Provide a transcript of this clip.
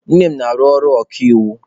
Nne m na-arụ ọrụ okaiwu.